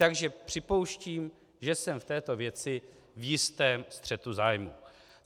Takže připouštím, že jsem v této věci v jistém střetu zájmu.